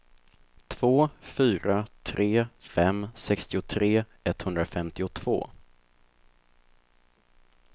två fyra tre fem sextiotre etthundrafemtiotvå